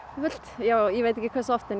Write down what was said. já ég veit ekki hversu oft en